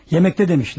Yeməkdədir demişlər.